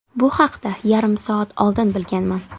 Bu haqda yarim soat oldin bilganman.